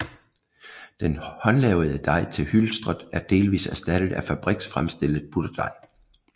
Den håndlavede dej til hylstret er delvist erstattet af fabriksfremstillet butterdej